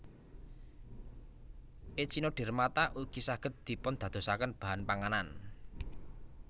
Echinodermata ugi saged dipundadosaken bahan panganan